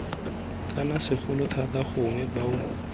kana segolo thata gongwe bao